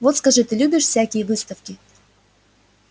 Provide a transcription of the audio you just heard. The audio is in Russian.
вот скажи ты любишь всякие выставки